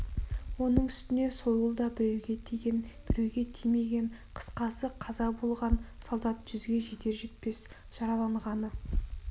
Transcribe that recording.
оның үстіне сойыл да біреуге тиген біреуге тимеген қысқасы қаза болған солдат жүзге жетер-жетпес жаралан- ғаны